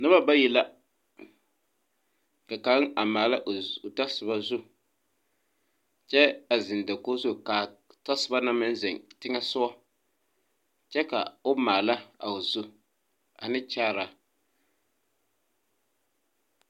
Noba bayi la ka kaŋ a maala o tasoba zu kyɛ a zeŋ dakoge zu kaa tasobo na meŋ zeŋ teŋɛ sugɔ kyɛ ka o maala a o zu ane kyaaraa .